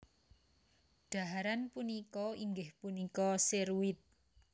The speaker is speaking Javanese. Dhaharan punika inggih punika seruit